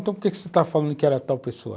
Então por que você está falando que era tal pessoa?